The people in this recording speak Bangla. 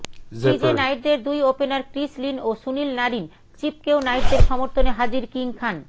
ক্রিজে নাইটেদের দুই ওপেনার ক্রিস লিন ও সুনীল নারিন চিপকেও নাইটদের সমর্থনে হাজির কিং খান